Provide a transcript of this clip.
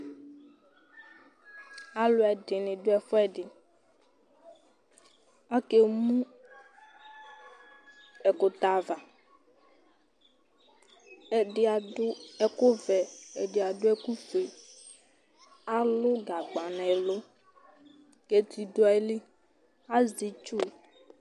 Alʋ ɛdɩnɩ dʋ ɛfʋɛdɩ, akemu ɛkʋtɛ ava, ɛdɩ adʋ ɛkʋ vɛ, ɛdɩ adʋ ɛkʋ fue, alʋ gagba nʋ ɛlʋ kʋ eti dʋ ayili, azɛ itsu